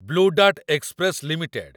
blue dart express limited